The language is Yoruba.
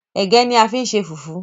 ẹgẹ ní a fí n ṣe fufu.